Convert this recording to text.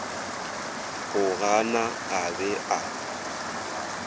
go gana a be a